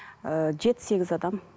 ыыы жеті сегіз адам